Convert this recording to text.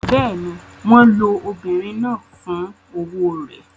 Bẹ́ẹ̀ ni, wọ́n lo obìnrin náà fún owó rẹ̀.